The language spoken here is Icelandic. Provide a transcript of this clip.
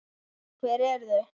Hver eru þau?